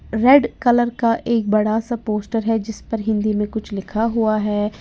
Red colour का एक बड़ा सा पोस्टर है जिस पर हिंदी में कुछ लिखा हुआ है।